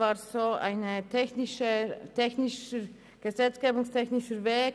Es handelt sich um einen gesetzgebungstechnischen Weg: